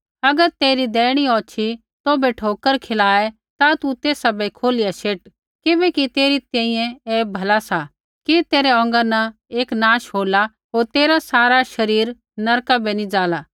अगर तेरी दैहिणी औछ़ी तौभै ठोकर खियाए ता तू तेसा बै खोलिया शेट किबैकि तेरी तैंईंयैं ऐ भला सा कि तेरै औंगा न एक नाश होला होर तेरा सारा शरीर नरका बै नी जाला